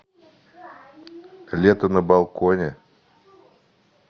лето на балконе